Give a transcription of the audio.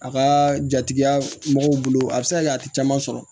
A ka jatigiya mɔgɔw bolo a bɛ se ka kɛ a tɛ caman sɔrɔ